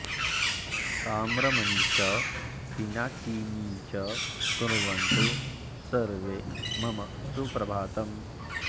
सुताम्रपर्णी च पिनाकिनी च कुर्वन्तु सर्वे मम सुप्रभातम्